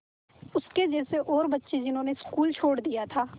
उसके जैसे और बच्चे जिन्होंने स्कूल छोड़ दिया था